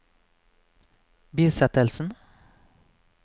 bisettelsen